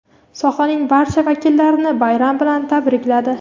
sohaning barcha vakillarini bayram bilan tabrikladi.